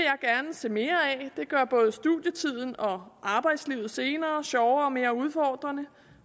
se mere af det gør både studietiden og arbejdslivet senere sjovere og mere udfordrende